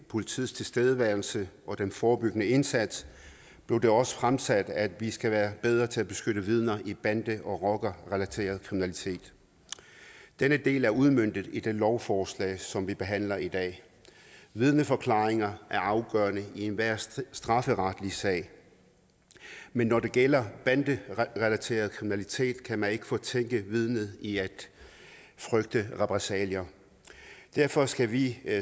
politiets tilstedeværelse og den forebyggende indsats blev det også fremsat at vi skal være bedre til at beskytte vidner i bande og rockerrelateret kriminalitet denne del er udmøntet i det lovforslag som vi behandler i dag vidneforklaringer er afgørende i enhver strafferetlig sag men når det gælder banderelateret kriminalitet kan man ikke fortænke vidnet i at frygte repressalier derfor skal vi